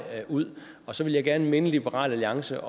ud og så ville jeg gerne minde liberal alliance